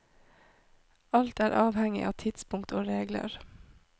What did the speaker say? Alt er avhengig av tidspunkt og regler.